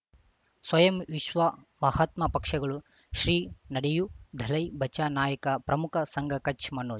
ಸ್ವಯಂ ವಿಶ್ವ ಮಹಾತ್ಮ ಪಕ್ಷಗಳು ಶ್ರೀ ನಡೆಯೂ ದಲೈ ಬಚ ನಾಯಕ ಪ್ರಮುಖ ಸಂಘ ಕಚ್ ಮನೋಜ್